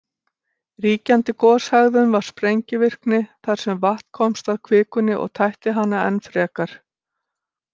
Ríkjandi goshegðun var sprengivirkni, þar sem vatn komst að kvikunni og tætti hana enn frekar.